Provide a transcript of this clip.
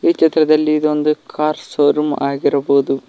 ಈ ಚಿತ್ರದಲ್ಲಿ ಇದು ಒಂದು ಕಾರ್ ಶೋರೂಮ್ ಆಗಿರಬಹುದು.